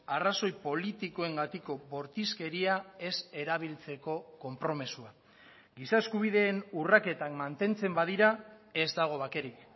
arrazoi politikoengatiko bortizkeria ez erabiltzeko konpromisoa giza eskubideen urraketak mantentzen badira ez dago bakerik